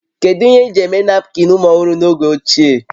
Kedu ihe eji eme napkịn ụmụ ọhụrụ n'oge ochie?